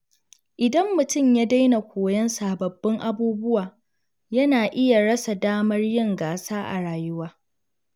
Idan mutum ya daina koyon sababbin abubuwa, yana iya rasa damar yin gasa a rayuwa.